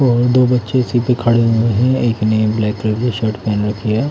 और दो बच्चे इसी पे खड़े हुए है एक ने ब्लैक कलर की शर्ट पहन रखी है।